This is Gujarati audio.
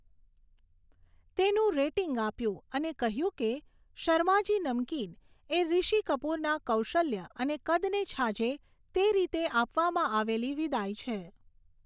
તેનું રેટિંગ આપ્યું અને કહ્યું કે, 'શર્માજી નમકીન' એ ઋષિ કપૂરના કૌશલ્ય અને કદને છાજે તે રીતે આપવામાં આવેલી વિદાય છે.